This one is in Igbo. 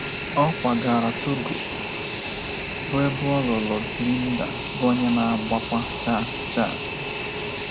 Ọ kwagara Togo, bụ́ ebe ọ lụrụ Linda, bụ́ onye na-agbakwa chaa chaa.